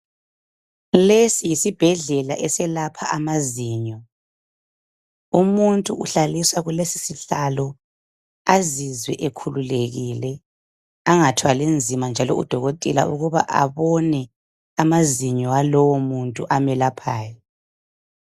Lesi yisibhedlela eselapha amazinyo umuntu uhlaliswa kulesisihlalo azizwe ekhululekile angathwali nzima njalo udokotela ukuba abone amazinyo alowo muntu amelaphayo.